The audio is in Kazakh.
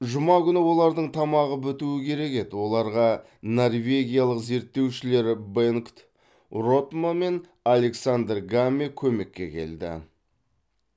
жұма күні олардың тамағы бітуі керек еді оларға норвегиялық зерттеушілер бенгт ротмо мен александр гамме көмекке келді